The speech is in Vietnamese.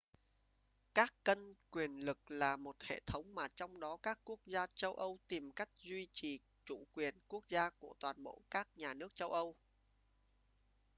các cân quyền lực là một hệ thống mà trong đó các quốc gia châu âu tìm cách duy trì chủ quyền quốc gia của toàn bộ các nhà nước châu âu